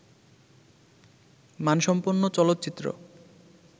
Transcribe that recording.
মানসম্পন্ন চলচ্চিত্র